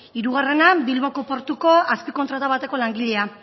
hirugarrena bilboko portuko azpikontrata bateko langilea